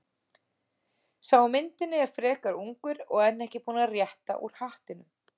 Sá á myndinni er frekar ungur og enn ekki búinn að rétta úr hattinum.